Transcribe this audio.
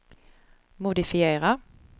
modifiera